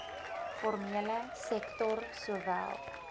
formele sektor sowel